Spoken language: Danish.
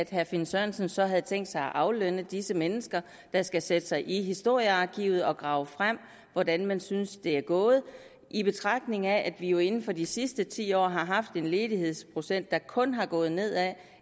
herre finn sørensen så havde tænkt sig at aflønne disse mennesker der skal sætte sig i historiearkivet og grave frem hvordan man synes det er jo gået i betragtning af at vi jo inden for de sidste ti år haft en ledighedsprocent der kun er gået nedad